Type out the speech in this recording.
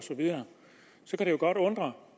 så kan det jo godt undre